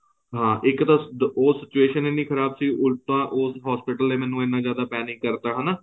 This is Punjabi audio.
ਹਾਂ ਇੱਕ ਤਾਂ ਉਹ situation ਇਹਨੀ ਖ਼ਰਾਬ ਸੀ ਉਲਟਾ ਉਹ hospital ਨੇ ਮੈਨੂੰ ਇਹਨਾਂ ਜਿਆਦਾ panic ਕਰਤਾ ਹਨਾ